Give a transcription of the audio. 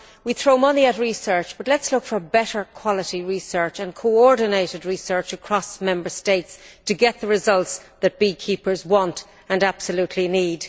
We throw money at research but let us look for better quality research and coordinated research across Member States to get the results that beekeepers want and absolutely need.